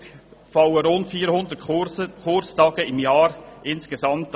Somit fallen insgesamt rund 400 Kurstage pro Jahr an.